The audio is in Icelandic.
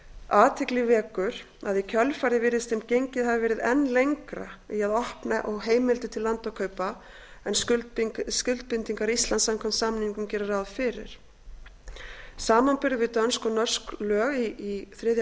athygli vekur að í kjölfarið virðist sem gengið hafi verið enn lengra í að opna á heimildir til landakaupa en skuldbindingar íslands samkvæmt samningnum gera ráð fyrir samanburður við dönsk og norsk lög í þriðja